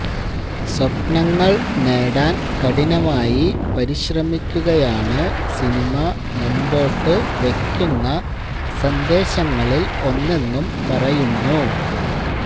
സ്വപ്നങ്ങള് നേടാന് കഠിനമായി പരിശ്രമിക്കുകയാണ് സിനിമ മുമ്പോട്ട് വെയ്ക്കുന്ന സന്ദേശങ്ങളില് ഒന്നെന്നും പറയുന്നു